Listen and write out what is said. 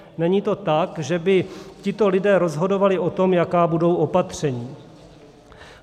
Není to tak, že by tito lidé rozhodovali o tom, jaká budou opatření.